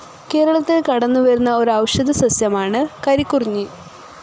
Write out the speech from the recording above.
കേരളത്തിൽ കടന്നുവരുന്ന ഒരു ഔഷധ സസ്യമാണ് കരികുറിഞ്ഞി.